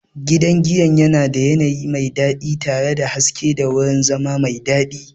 Gidan giyan yana da yanayi mai daɗi tare da haske da wurin zama mai daɗi.